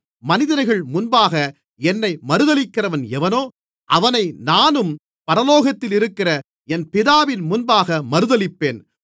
மனிதர்கள் முன்பாக என்னை மறுதலிக்கிறவன் எவனோ அவனை நானும் பரலோகத்திலிருக்கிற என் பிதாவின் முன்பாக மறுதலிப்பேன்